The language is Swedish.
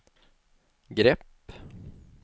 grepp